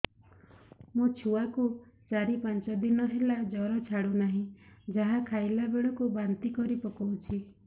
ମୋ ଛୁଆ କୁ ଚାର ପାଞ୍ଚ ଦିନ ହେଲା ଜର ଛାଡୁ ନାହିଁ ଯାହା ଖାଇଲା ବେଳକୁ ବାନ୍ତି କରି ପକଉଛି